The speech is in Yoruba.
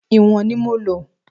Ìwọ̀n ni mo lò.